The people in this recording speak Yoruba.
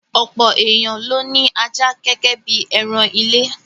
Ọ̀pọ̀ èèyàn ló ní ajá gẹ́gẹ́ bí ẹran ilé.